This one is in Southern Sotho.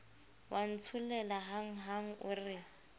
wa ntsholela hanghang o re